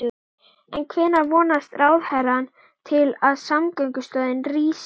En hvenær vonast ráðherrann til að samgöngumiðstöðin rísi?